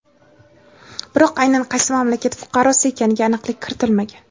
biroq aynan qaysi mamlakat fuqarosi ekaniga aniqlik kiritilmagan.